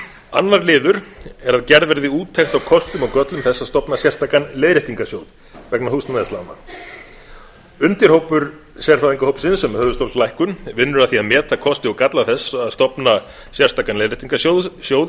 annar liður er að gerð verði úttekt á kostum og göllum þess að stofna sérstakan leiðréttingarsjóð vegna húsnæðislána undirhópur sérfræðingahópsins um höfuðstólslækkun vinnur að því að meta kosti og galla þess að stofna sérstakan leiðréttingarsjóð í